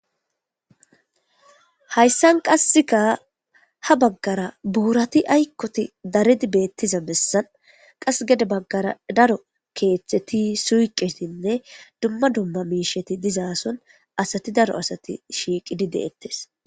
Hayssan qasseka ha baggara boorati ayikkoti daredi beettiza bessan. Qasse gede baggara daro keeththeti suyqqetinne dumma dumma miishati dizaa soni asati daro asati shiiqidi deettes.